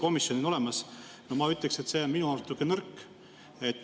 Ma ütleksin, et see on minu arust nõrk.